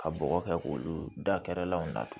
Ka bɔgɔ kɛ k'olu dakɛrɛlanw na